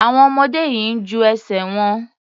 Àwọn ọmọdé yìí ń ju ẹsẹ̀ wọn.